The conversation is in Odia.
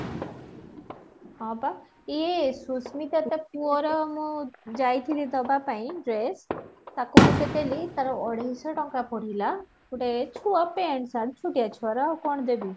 ହଁ, ବା ଏ ସୁସ୍ମିତା ତା ପୁଅ ର ମୁଁ ଯାଈଥିଲି ଦବା ପାଇଁ dress ତାକୁ ଗୋଟେ ଦେଲି ତାର ଅଢେଈଶ ଟଙ୍କା ପଡିଲା ଗୋଟେ ଛୁଆ paint shirt ଛୋଟୀୟ ଛୁଆ ର ଆଉ କଣ ଦେବୀ ?